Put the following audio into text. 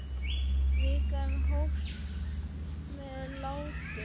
Vikan hófst með látum.